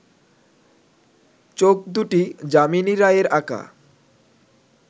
চোখ দুটি যামিনী রায়ের আঁকা